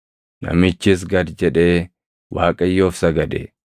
Namichis gad jedhee Waaqayyoof sagade;